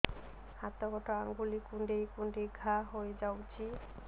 ହାତ ଗୋଡ଼ ଆଂଗୁଳି କୁଂଡେଇ କୁଂଡେଇ ଘାଆ ହୋଇଯାଉଛି